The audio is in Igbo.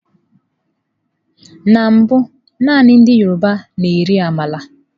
Na mbụ naanị ndị yọrọba na-eri ámàla.